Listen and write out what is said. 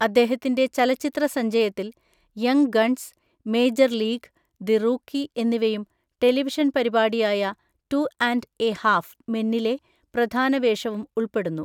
അദ്ദേഹത്തിന്‍റെ ചലച്ചിത്രസഞ്ചയത്തില്‍, young guns, major league, the rookie എന്നിവയും ടെലിവിഷൻ പരിപാടിയായ ടു ആൻ്റ് എ ഹാഫ് മെന്നിലെ പ്രധാന വേഷവും ഉൾപ്പെടുന്നു.